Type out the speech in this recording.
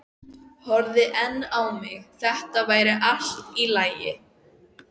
horfði enn á mig- þetta væri allt í lagi.